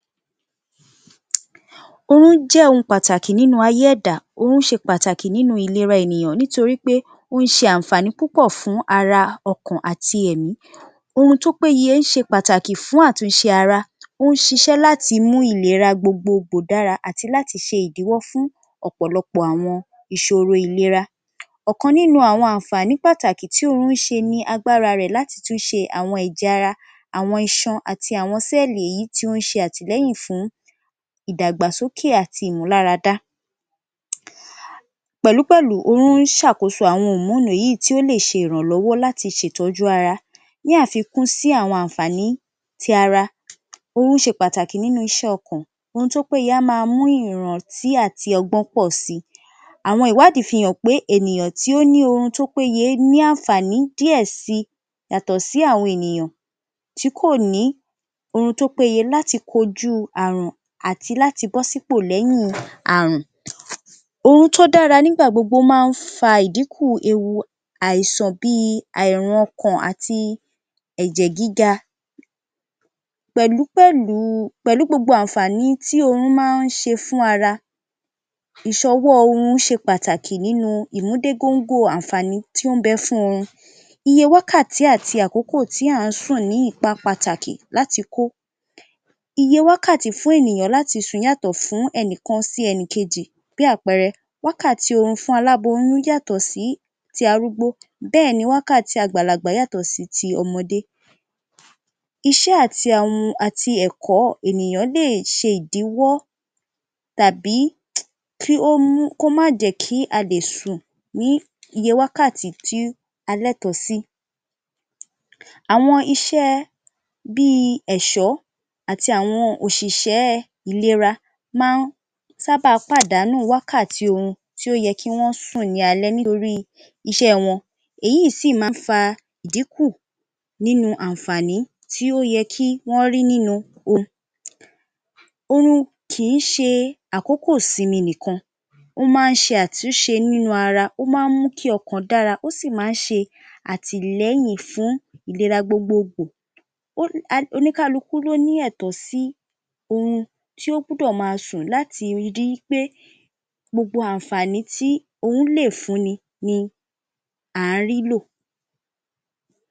Oorún jẹ́ ohun pàtàkì nínú ayé ẹ̀dá. Oorún ṣe pàtàkì nínú ìlera ènìyàn nítorí pé ó ń ṣe ànfàní púpọ̀ fún ara, ọkàn àti ẹ̀mí. Oorun tó péye ṣe pàtàkì fún àtúnṣe ara, ó ń ṣiṣẹ́ láti mú ìlera gbogbo kò dára àti láti ṣe ìdíwọ́ fún ọ̀pọ̀lọpọ̀ àwọn ìṣoro ìlera. Ọ̀kan nínú un àwọn ànfàní pàtàkì tí orún ṣe ni agbára rẹ̀ láti tún ṣe àwọn ẹ̀jẹ̀ ara, àwọn iṣan àti àwọn sẹ́ẹ̀lì èyí, wọ́n ń ṣe àtìlẹyìn fún ìdàgbàsókè àti ìmúláradá. Pẹ̀lúpẹ̀lù, oorun ṣàkóso àwọn hòmóònì èyí í tí ó lè ṣe ìrànlọ́wọ́ láti ṣètọ́jú ara. Ní àfikún sí àwọn ànfàní ti ara, oorún ṣe pàtàkì nínú iṣẹ́ ọkàn. Oorun tó péye a máa mú ìrántí àti ọgbọ́n pọ̀ si. Àwọn ìwádìí fi hàn pé ènìyàn tí ó ní oorun tó péye é ní ànfàní díẹ̀ si yàtọ̀ sí àwọn ènìyàn tí kò ní oorun tó péye láti DInú àrùn. Oorun tó dára nígbà gbogbo máa ń fa ìdínkù ewu àìsàn bíi àìránkàn àti ẹ̀jẹ̀ gíga pẹ̀lú pẹ̀lù u pẹ̀lú gbogbo àǹfààní tí oorún máa ń ṣe fún ara, ìṣọwọ́ ọ oorun pàtàkì nínú ún ìmúdégóńgó o àǹfàní tí ó ń bẹ fún oorun. Iye wákàtí àti àkókò a ń sùn ní ipa pàtàkì láti kó. Iye wákàtí fún ènìyàn láti sùn yàtọ̀ fún ẹnìkọn sí ẹnì kejì bí àpẹẹrẹ, wákàtí oorun fún aláboyún yàtọ̀ sí ti arúgbó, bẹ́ẹ̀ni wákàtí àgbàlagbà yàtò sí ti ọmọdé. Iṣẹ́ àti awọn àti ẹ̀kọ́ ènìyàn lè ṣe ìdíwọ́ tàbí kí ó mú kó má jẹ́ kí a lè sùn ní iye wákàtí tí a lẹtọ̀ọ́ sì. Àwọn iṣẹ́ ẹ bíi ẹ̀ṣọ̀ àti àwọn òṣìṣẹ́ ẹ ìlera máa ń sábà pàdánù wákàtí oorun tí ó yẹ kí wọ́n sùn ní alẹ́ nítorí I iṣẹ́ ẹ wọn èyí í sì máa ń fa díkù nínú ànfàní tí ó yẹ́ kí Wọ́n rí nínú òru. Oorun kì í ṣe àkókò sinmi nikan, ó máa ń ṣe átúnṣe nínú ara, ó máa ń mú kí kí ọkàn dára, ó sì máa ń ṣe àtìlẹ́yìn fún ìlera gbogbo gbò. Ó oníkálùkù ló ní ẹ̀tọ́ sì oorun tí ó gbúdọ̀ máa sùn láti rí I pé gbogbo àǹfàní tí oórún lè fún ni à á rí lò.